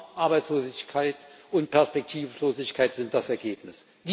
Armut, Arbeitslosigkeit und Perspektivlosigkeit sind das Ergebnis.